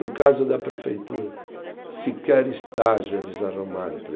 No caso da prefeitura, sequer estágio eles arrumaram